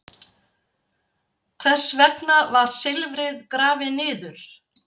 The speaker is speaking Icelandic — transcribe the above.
Hvers vegna var silfrið grafið niður?